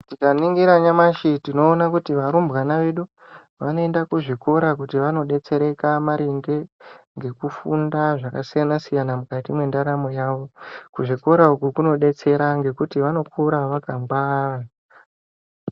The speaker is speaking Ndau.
Tikaningira nyamashi tinoona kuti varumbwani vedu vanoenda kuzvikora kuti vanodetsereka maringe ngekufunda zvakasiyanasiyana mukati mwendaramo yavo, kuzvikora uku kunodetsera ngekuti vanokura vakangwara.